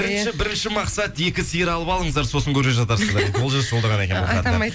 бірінші мақсат екі сиыр алып алыңыздар сосын көре жатарсыздар дейді олжас жолдаған екен бұл хатты атам